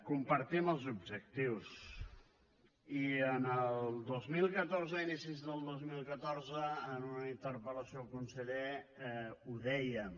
compartim els objectius i el dos mil catorze a inicis del dos mil catorze en una interpel·lació al conseller ho dèiem